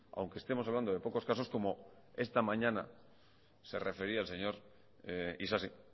aunque estemos hablando de pocos casos como esta mañana se refería el señor isasi